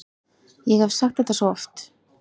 Ég hef sagt þetta svo oft.